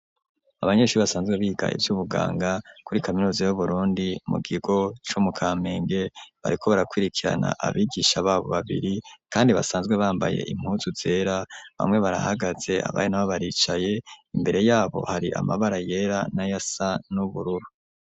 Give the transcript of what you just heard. Abanyeshuri basanzwe biga ivy'ubuganga, kuri kaminuza y'Uburundi mu kigo co mu Kamenge, bariko barakwirikirana abigisha babo babiri, kandi basanzwe bambaye impuzu zera, bamwe barahagaze abandi nabo baricaye, imbere y'abo hari amabara yera n'ayasa n'ubururu.